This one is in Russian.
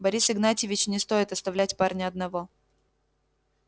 борис игнатьевич не стоит оставлять парня одного